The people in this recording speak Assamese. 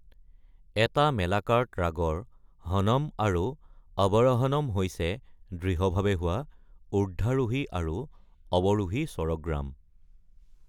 এটা মেলাকাৰ্ট ৰাগৰ হনম আৰু অৱৰহনম হৈছে দৃঢ়ভাৱে হোৱা ঊৰ্ধ্বমুখী আৰু অৱৰোহী স্বৰগ্ৰাম।